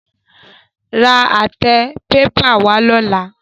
Ra àtẹ pépà wá lọ́la.